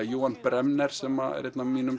Bremner sem er einn af mínum